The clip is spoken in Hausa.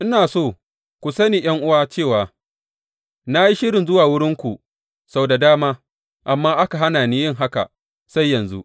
Ina so ku sani ’yan’uwa cewa na yi shirin zuwa wurinku sau da dama amma aka hana ni yin haka sai yanzu.